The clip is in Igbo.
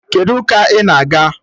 Kedụ ụka ị na-aga?